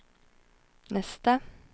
nästa